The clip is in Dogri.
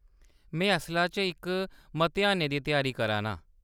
में असला च इक मतेहानै दी त्यारी करा नां।